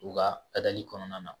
U ka kɔnɔna na